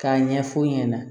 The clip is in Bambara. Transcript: K'a ɲɛf'u ɲɛna